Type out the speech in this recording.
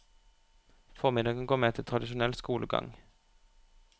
Formiddagen går med til tradisjonell skolegang.